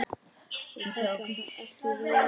Ég kalla það ekki veiði.